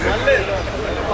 Xanım, əllə deyil.